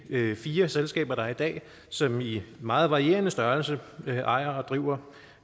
fire selskaber der er i dag som i meget varierende størrelse ejer og driver